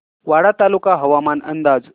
वाडा तालुका हवामान अंदाज